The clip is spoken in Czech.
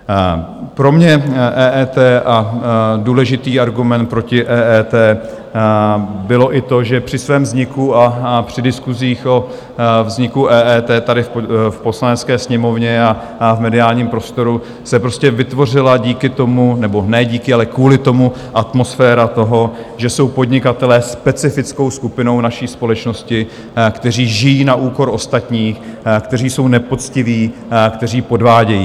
Pro mě EET a důležitý argument proti EET bylo i to, že při svém vzniku a při diskusích o vzniku EET tady v Poslanecké sněmovně a v mediálním prostoru se prostě vytvořila díky tomu, nebo ne díky, ale kvůli tomu atmosféra toho, že jsou podnikatelé specifickou skupinou naší společnosti, kteří žijí na úkor ostatních, kteří jsou nepoctiví, kteří podvádějí.